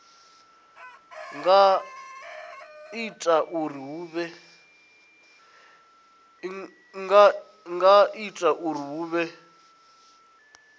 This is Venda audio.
nga ita uri hu vhe